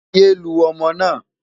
yé lu ọmọ na